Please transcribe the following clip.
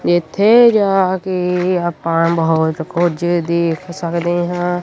ਤੇ ਇੱਥੇ ਜਾ ਕੇ ਆਪਾਂ ਬਹੁਤ ਕੁਝ ਦੇਖ ਸਕਦੇ ਹਾਂ।